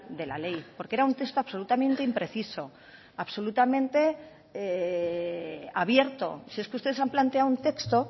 de la ley porque era un texto absolutamente impreciso absolutamente abierto si es que ustedes han planteado un texto